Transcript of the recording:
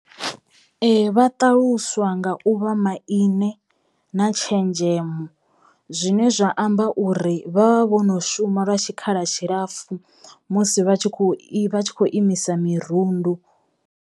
Vha ṱaluswa nga u vha maine na tshenzhemo zwine zwa amba uri vha vha vho no shuma lwa tshikhala tshilapfu musi vha tshi kho i, vha tshi imisa mirundu.